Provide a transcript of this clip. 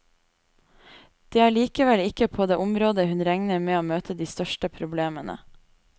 Det er likevel ikke på det området hun regner med å møte de største problemene.